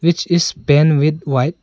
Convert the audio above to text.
it is paint with white.